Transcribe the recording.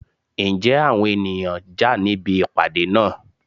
Ǹjẹ́ àwọn ènìyàn jà níbi ìpàdé àná?